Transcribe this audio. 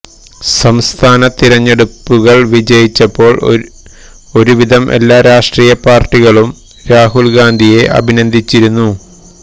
സംസ്ഥാന തിരഞ്ഞെടുപ്പുകള് വിജയിച്ചപ്പോള് ഒരു വിധം എല്ലാ രാഷ്ട്രീയ പാര്ട്ടികളും രാഹുല് ഗാന്ധിയെ അഭിനന്ദിച്ചിരുന്നു